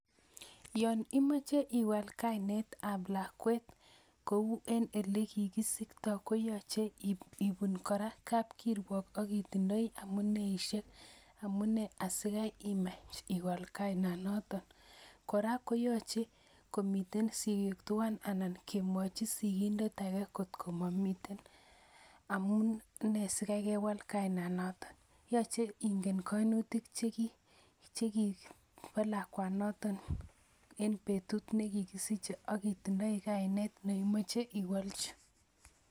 Yoon imoche iwal kainetab lakwet kou en elekikisikto koyoche in kora kapkirwok akitindoi amuneishek amune asikaimach iwal kainonoton, kora koyoche komii sikik twan anan kemwochi sikindet akee kot komomiten amune sikaii kewal kainanoton, yoche ing'en koimutik chekibolakwanoton en betut nekikisiche ak itindoi kainet neimoche iwolchi.